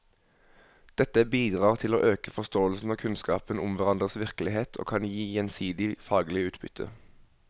Dette bidrar til å øke forståelsen og kunnskapen om hverandres virkelighet og kan gi gjensidig faglig utbytte.